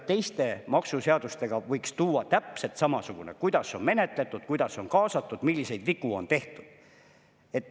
Teiste maksuseadustega võiks tuua täpselt samamoodi: kuidas on menetletud, kuidas on kaasatud, milliseid vigu on tehtud.